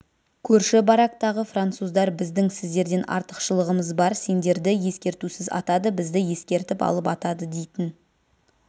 көрші барактағы француздар біздің сіздерден артықшылығымыз бар сендерді ескертусіз атады бізді ескертіп алып атады дейтін